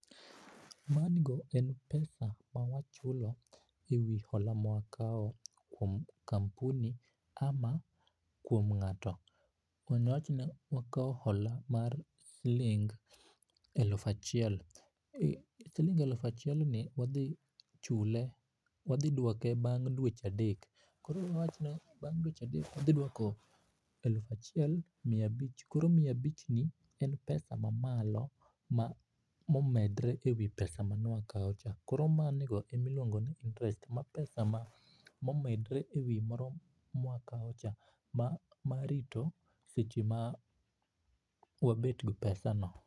Madi go en pesa ma wachulo ewi hola mawakao kuom kampuni ama kuom ngato ,awach ni wakao hola mar siling eluf achiel, siling eluf achiel ni wadhi chule, wadhi duoke bang dweche adek. Koro wawach ni bang dweche adek wadhi duoko aluf achiel mia abich. Koro mia abich ni en pesa mamalo momedre ewi pesa mane wakao cha. koro mano ego ema iluongo ni interest, ma pesa momedre ewi moro ma wakao cha ,marito seche ma wabet gi pesa no